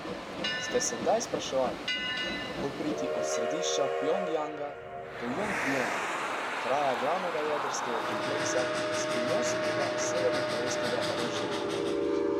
Ste se kdaj spraševali, kako priti od središča Pjongjanga do Jongbjona, kraja glavnega jedrskega kompleksa skrivnostnega severnokorejskega režima?